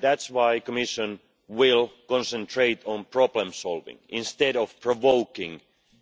That is why the Commission will concentrate on problem solving instead of provoking